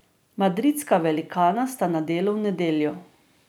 Madridska velikana sta na delu v nedeljo.